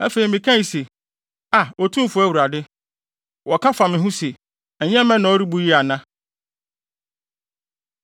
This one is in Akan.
Afei mekae se, “Aa, Otumfo Awurade! Wɔka fa me ho se, ‘Ɛnyɛ mmɛ na ɔrebu yi ana?’ ”